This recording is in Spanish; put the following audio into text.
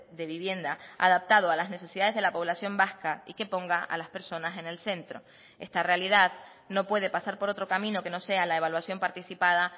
de vivienda adaptado a las necesidades de la población vasca y que ponga a las personas en el centro esta realidad no puede pasar por otro camino que no sea la evaluación participada